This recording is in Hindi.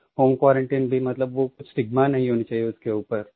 ओन क्वारंटाइन मतलब वो स्टिग्मा नहीं होनी चाहिये उसके ऊपर